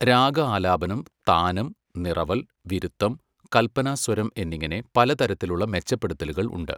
രാഗ ആലാപനം, താനം, നിറവൽ, വിരുത്തം, കൽപ്പനാസ്വരം എന്നിങ്ങനെ പല തരത്തിലുള്ള മെച്ചപ്പെടുത്തലുകൾ ഉണ്ട്.